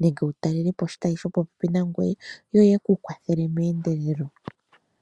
nenge wu talele po oshitayi shopopepi nangoye, yo ye ku kwathele meendelelo.